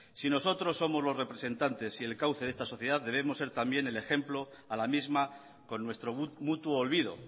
si nosotros somos los representantes y el cauce de esta sociedad debemos ser también el ejemplo a la misma con nuestro mutuo olvido